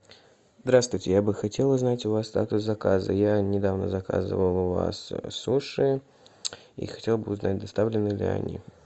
здраствуйте я бы хотел узнать у вас статус заказа я недавно заказывал у вас суши и хотел бы узнать доставлены ли они